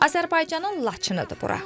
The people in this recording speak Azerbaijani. Azərbaycanın Laçınıdır bura.